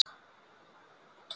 Gæði aukaatriði?